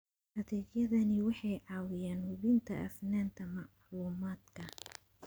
Adeegyadani waxay caawiyaan hubinta hufnaanta macluumaadka.